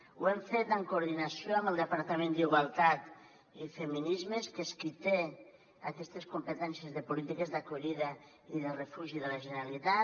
ho hem fet en coordinació amb el departament d’igualtat i feminismes que és qui té aquestes competències de polítiques d’acollida i de refugi de la generalitat